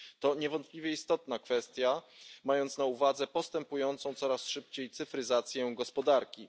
To niewątpliwie istotna kwestia, zważywszy na postępującą coraz szybciej cyfryzację gospodarki.